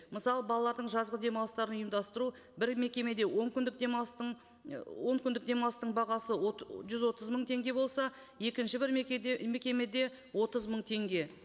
мысалы балалардың жазғы демалыстарын ұйымдастыру бір мекемеде он күндік демалыстың і он күндік демалыстың бағасы жүз отыз мың теңге болса екінші бір мекемеде отыз мың теңге